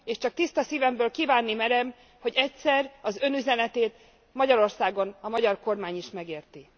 És csak tiszta szívemből kívánni merem, hogy egyszer az Ön üzenetét Magyarországon, a magyar kormány is megérti.